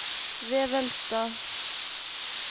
Vevelstad